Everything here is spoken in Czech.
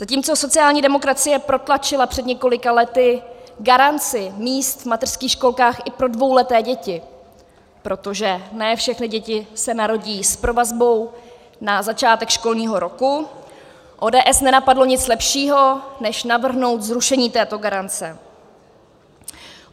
Zatímco sociální demokracie protlačila před několika lety garanci míst v mateřských školkách i pro dvouleté děti, protože ne všechny děti se narodí s provazbou na začátek školního roku, ODS nenapadlo nic lepšího, než navrhnout zrušení této garance.